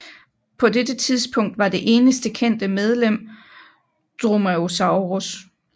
På dette tidspunkt var det eneste kendte medlem Dromaeosaurus